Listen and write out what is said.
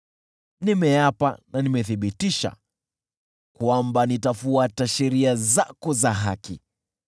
Nimeapa na nimethibitisha, kwamba nitafuata sheria zako za haki.